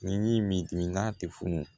Ni minan tɛ funu